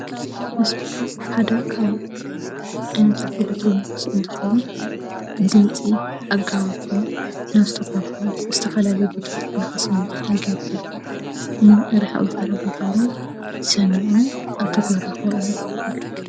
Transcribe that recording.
ስፒከር ሓደ ካብ ዓይነታት ኤሌክትሮኒክስ እንትከውን ድምፂ አጋዊሑ ናብ ዝተፈላለዩ ዝተፈላለዩ ቦታታት ንክስማዕ ይገብር ንርሕቅ ዝበለ ቦታውን ሰሚዑ ኣብ ተግባር ንከውዕል ይገብር።